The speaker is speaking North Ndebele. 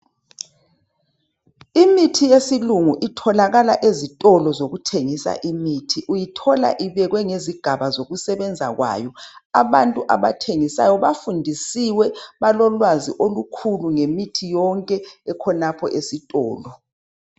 Imithi yesilungu itholakala ezitolo zokuthengisa imithi , uyithola ibekwe ngezigaba zokusebenza kwayo , abantu abathengisayo bafundisiwe balolwazi olukhulu ngemithi yonke ekhonapho esitolo